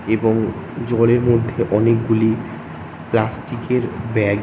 এবং জলের মধ্যে অনেকগুলি প্লাষ্টিক -এর ব্যাগ ।